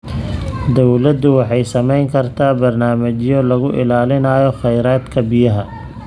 Dawladdu waxay samayn kartaa barnaamijyo lagu ilaalinayo kheyraadka biyaha.